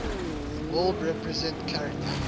world represent character